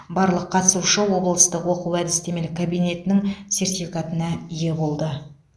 барлық қатысушы облыстық оқу әдістемелік кабинетінің сертификатына ие болды